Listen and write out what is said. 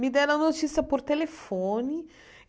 Me deram a notícia por telefone.